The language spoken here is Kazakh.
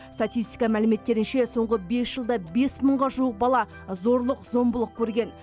статистика мәліметтерінше соңғы бес жылда бес мыңға жуық бала зорлық зомбылық көрген